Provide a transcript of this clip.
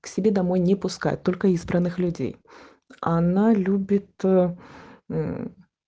к себе домой не пускают только избранных людей она любит